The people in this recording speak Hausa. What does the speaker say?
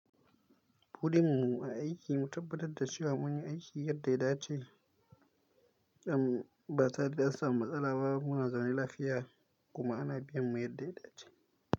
Burinmu a aiki, mu tabbatar da cewa mun yi aiki yadda ya dace, am ba tare da samun matsala ba kuma muna zaune lafiya kuma ana biyan mu yadda ya dace.